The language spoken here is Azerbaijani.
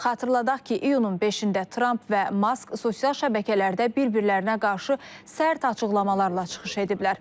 Xatırladaq ki, iyunun 5-də Tramp və Mask sosial şəbəkələrdə bir-birlərinə qarşı sərt açıqlamalarla çıxış ediblər.